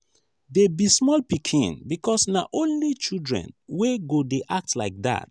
dey be small pikin because na only children wey go dey act like dat